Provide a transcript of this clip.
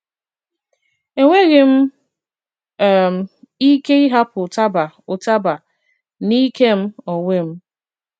Enwèghị m um ike ịhàpụ̀ ụtabà ụtabà n’ìke m onwe m.